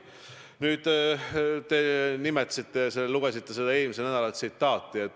Nüüd, te lugesite ette eelmisest nädalast pärit tsitaadi.